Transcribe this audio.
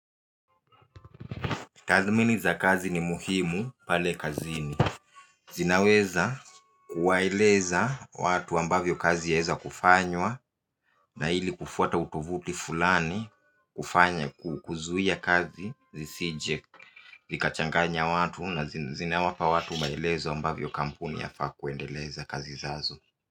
Tadhmini za kazi ni muhimu pale kazini. Zinaweza kuwaeleza watu ambavyo kazi yaweza kufanywa na hili kufuata utovuti fulani kufanya kuzuia kazi zisije likachanganya watu na zinawapa watu maelezo ambavyo kampuni yafaa kuendeleza kazi zazo.